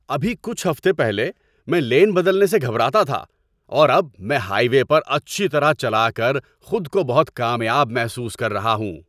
ابھی کچھ ہفتے پہلے، میں لین بدلنے سے گھبراتا تھا، اور اب میں ہائی وے پر اچھی طرح چلا کر خود کو بہت کامیاب محسوس کر رہا ہوں!